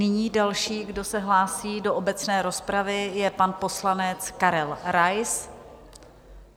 Nyní další, kdo se hlásí do obecné rozpravy, je pan poslanec Karel Rais.